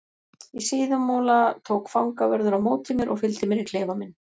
Í Síðumúla tók fangavörður á móti mér og fylgdi mér í klefa minn.